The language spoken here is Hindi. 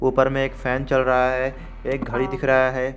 ऊपर में एक फैन चल रहा है एक घड़ी दिख रहा है।